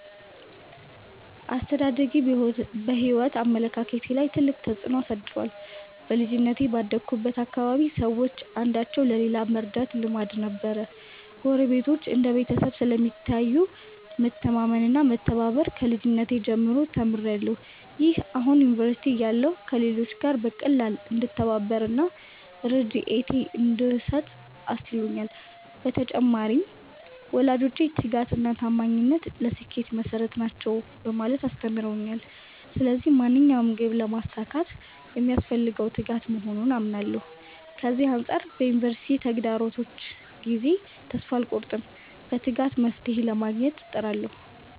አስተዳደጌ በሕይወት አመለካከቴ ላይ ትልቅ ተጽዕኖ አሳድሯል። በልጅነቴ ባደግሁበት አካባቢ ሰዎች አንዳቸው ለሌላው መርዳት ልማድ ነበር። ጎረቤቶች እንደ ቤተሰብ ስለሚታዩ፣ መተማመን እና መተባበር ከልጅነቴ ጀምሮ ተምሬያለሁ። ይህ አሁን ዩኒቨርሲቲ እያለሁ ከሌሎች ጋር በቀላሉ እንድተባበር እና ርድኤት እንድሰጥ አስችሎኛል። በተጨማሪም፣ ወላጆቼ 'ትጋት እና ታማኝነት ለስኬት መሠረት ናቸው' በማለት አስተምረውኛል። ስለዚህ ማንኛውንም ግብ ለማሳካት የሚያስፈልገው ትጋት መሆኑን አምናለሁ። ከዚህ አንጻር በዩኒቨርሲቲ ተግዳሮቶች ጊዜ ተስፋ አልቆርጥም፤ በትጋት መፍትሔ ለማግኘት እጥራለሁ።